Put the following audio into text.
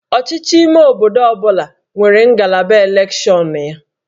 Ọchịchị ime obodo ọ bụla nwere ngalaba elekshọnụ ya